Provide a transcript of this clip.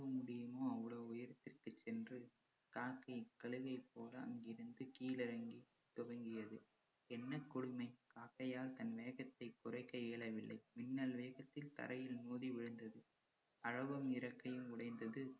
எவ்வளவு முடியுமோ அவ்வளவு உயரத்துக்கு சென்று காக்கை கழுகைப் போல் அங்கிருந்து கீழிறங்கி தொடங்கியது. என்ன கொடுமை காக்கையால் தன் வேகத்தை குறைக்க இயலவில்லை. மின்னல் வேகத்தில் தரையில் மோதி விழுந்தது அலகும் இறக்கையும் உடைந்தது